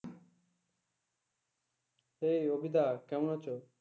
এই অভিদা কেমন আছো?